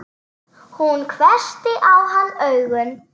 Hún hvessti á hann augun.